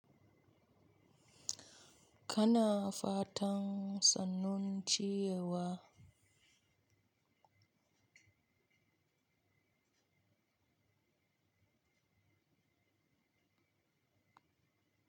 Kana fatan sannun ciyewa.